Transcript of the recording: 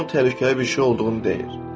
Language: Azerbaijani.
Hamı bunun təhlükəli bir şey olduğunu deyir.